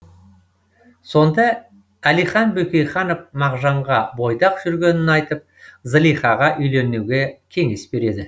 сонда әлихан бөкейханов мағжанға бойдақ жүргенін айтып зылихаға үйленуге кеңес береді